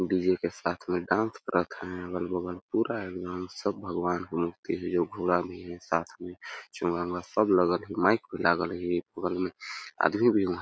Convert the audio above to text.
डी_जे के साथ में डांस करत है अगल- बगल पूरा एकदम सब भगवान के मूर्ति हे जो घोड़ा में हे साथ में चोंगा -उंगा सब लगल हे माईक भी लागल हे बगल में आदमी भी उहा --